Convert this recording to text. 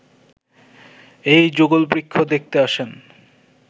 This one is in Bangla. এই যুগলবৃক্ষ দেখতে আসেন